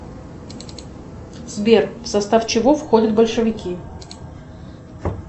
сбер в состав чего входят большевики